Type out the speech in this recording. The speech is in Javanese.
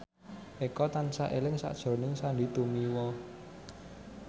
Eko tansah eling sakjroning Sandy Tumiwa